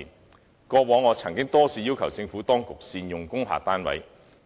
我過往多次要求政府當局善用工廈單位，